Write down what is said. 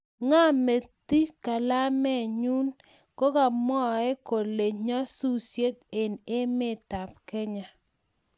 ngameti kalaminyu kogatmwae kole nyasusiet eng emetab Kenya